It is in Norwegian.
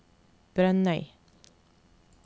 Brønnøy